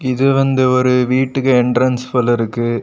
இது வந்து ஒரு வீட்டுக்கு என்ட்ரன்ஸ் போல இருக்கு.